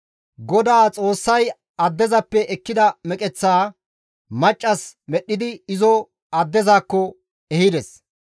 GODAA Xoossay addezappe ekkida meqeththaa maccas medhdhidi izo addezakko ehides.